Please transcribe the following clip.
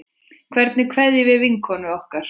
Hvernig kveðjum við vinkonu okkar?